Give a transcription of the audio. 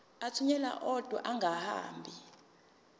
athunyelwa odwa angahambi